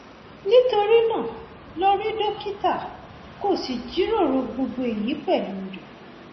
nítorí náà lọ rí dókítà kó o sì jíròrò gbogbo èyí pẹlú rẹ